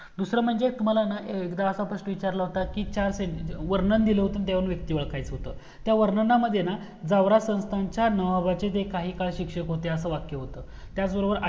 दूसरा म्हणजे तुम्हाला ना एकदा असा प्रश्न विचारला होता की चार ज वर्णन दिला होत. वर्णन दिले व्यक्ति ओळखायचा होत त्या वरणांनामद्धे ना गवारा संस्थाच्या नावाबाचे काहीकाळ काय शिक्षक होते. अस वाक्य होत. त्याचबरोबर आठ